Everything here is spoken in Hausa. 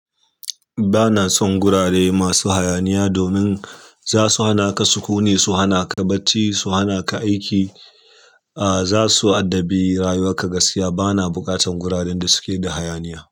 Ba na son gurare masu hayaniya domin za su hana ka sukuni, su hana ka bacci, su hana ka aiki, ah za su addabi rayuwar ka gaskiya. Ba na buƙatan guraren da suke da hayaniya.